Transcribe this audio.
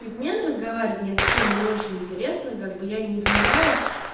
измен разговаривать на эту тему не очень интересно как бы я не изменяла